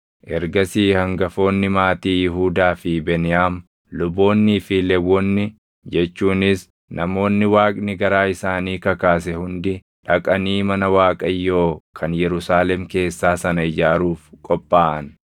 Ergasii hangafoonni maatii Yihuudaa fi Beniyaam, luboonnii fi Lewwonni jechuunis namoonni Waaqni garaa isaanii kakaase hundi dhaqanii mana Waaqayyoo kan Yerusaalem keessaa sana ijaaruuf qophaaʼan.